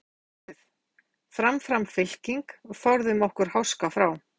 Því segi ég eins og skáldið: Fram fram fylking, forðum okkur háska frá.